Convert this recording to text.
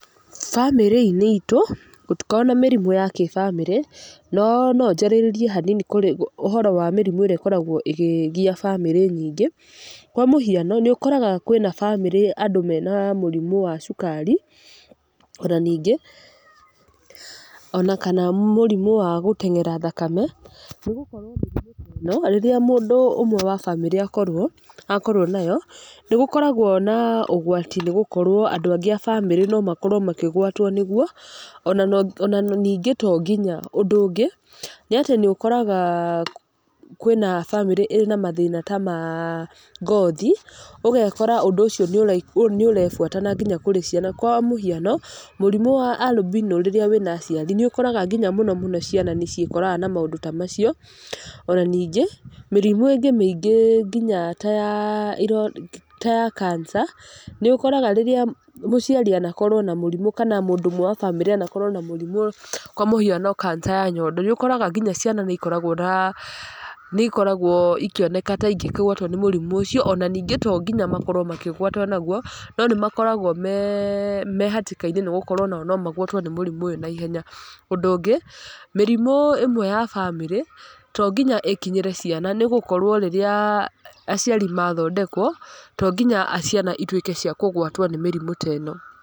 Bamĩrĩ-inĩ iitũ, gũtikoragwo na mĩrimũ ya kĩbamĩrĩ, no no njarĩrĩrie hanini kũrĩ ũhoro wa mĩrimũ ĩrĩa ĩkoragwo ĩgĩgia bamĩrĩ nyingĩ. Kwa mũhiano, nĩ ũkoraga kwĩna bamĩrĩ andũ mena mũrimũ wa cukari, ona ningĩ, ona kana mũrimũ wa gũteng'era thakame. Nĩ gũkorwo mĩrimũ ta ĩno, rĩrĩa mũndũ ũmwe wa bamĩrĩ akorwo, akorwo nayo, nĩ gũkoragwo na ũgwati nĩ gũkorwo andũ angĩ a bamĩrĩ no makorwo makĩgwatwo nĩguo, ona no ona ningĩ tonginya. Ũndũ ũngĩ, nĩ atĩ nĩ ũkoraga kwĩna bamĩrĩ ĩna mathĩna ta ma ngothi, ũgekora ũndũ ũcio nĩ nĩ ũrebuata na nginya kũrĩ ciana. Kwa mũhiano, mũrimũ albino rĩrĩa wĩna aciari, nĩ ũkoraga nginya mũno ciana nĩ ciĩkoraga na maũndũ ta macio. Ona ningĩ, mĩrimũ ĩngĩ mĩingĩ nginya ta ya ta ya kanca, nĩ ũkoraga rĩrĩa mũciari anakorwo na mũrimũ kana mũndũ ũmwe wa bamĩrĩ anakorwo na mũrimũ kwa mũhiano kanca ya nyondo, nĩ ũkoraga nginya ciana nĩ ikoragwo na nĩ ikoragwo ikioneka ta ingĩgwatwo nĩ mũrimũ ũcio. Ona ningĩ to nginya makorwo makĩgwatwo naguo, no nĩ makoragwo me me hatĩka-inĩ nĩ gũkorwo onao no magwatwo nĩ mũrimũ ũyũ naihenya. Ũndũ ũngĩ, mĩrimũ ĩmwe ya bamĩrĩ, to nginya ĩkinyĩre ciana nĩ gũkorwo rĩrĩa aciari mathondekwo, to nginya ciana ituĩke cia kũgwatwo nĩ mĩrimũ ta ĩno.